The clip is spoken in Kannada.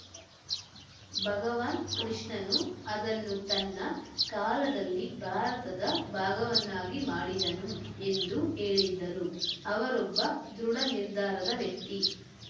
ಭಗವಾನ್‌ ಕೃಷ್ಣನು ಅದನ್ನು ತನ್ನ ಕಾಲದಲ್ಲಿ ಭಾರತದ ಭಾಗವನ್ನಾಗಿ ಮಾಡಿದನು ಎಂದು ಹೇಳಿದ್ದರು ಅವರೊಬ್ಬ ದೃಢನಿರ್ಧಾರದ ವ್ಯಕ್ತಿ